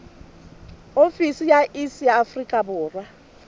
ofisi ya iss ya afrika